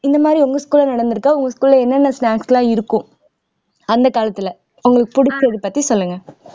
இந்த மாதிரி உங்க school ல நடந்திருக்கா உங்க school ல என்னென்ன snacks எல்லாம் இருக்கும் அந்த காலத்துல உங்களுக்கு பிடிச்சது பத்தி சொல்லுங்க